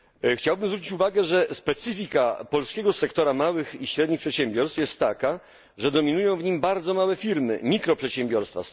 Chciałbym zwrócić uwagę, że specyfika polskiego sektora małych i średnich przedsiębiorstw jest taka, że dominują w nim bardzo małe firmy mikroprzedsiębiorstwa.